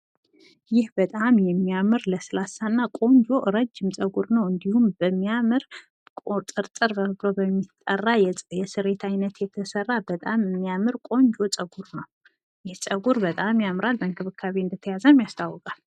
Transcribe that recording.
ይህ በጣም የሚያምር፣ ለስላሳ፣ ቆንጆ እና ረጂም ጸጉር ሲሆን በሚያምር ሁኔታና ቁጥርጥር የተሰራ እንዲሁም በእንክብካቤ የተያዘ በታም የሚያምር ጸጉር ነው።